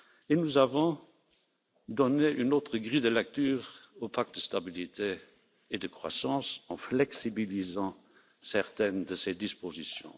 En outre, nous avons donné une autre grille de lecture au pacte de stabilité et de croissance en flexibilisant certaines de ses dispositions.